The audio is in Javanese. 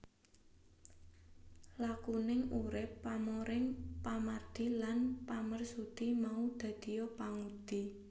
Lakuning urip pamoring pamardi lan pamarsudi mau dadiya pangudi